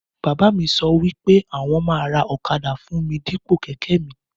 Bàbá mí sọ wípé àwọn ma ra ọ̀kadà fún mí Dípò kẹ̀kẹ́ mí